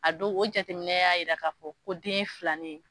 A don o jateminɛ y'a yira k'a fɔ ko den ye filanin ye.